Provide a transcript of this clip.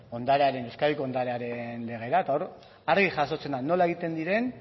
ondarearen euskadiko ondarearen lege bat eta hor argi jasotzen da nola egiten diren